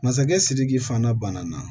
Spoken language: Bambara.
Masakɛ sidiki fana banana